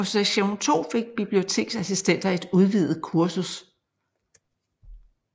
På Sektion II fik biblioteksassistenter et udvidet kursus